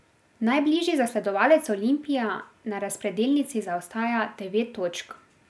Najbližji zasledovalec Olimpija na razpredelnici zaostaja devet točk.